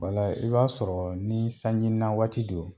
Wala i b'a sɔrɔ ni sanji na waati don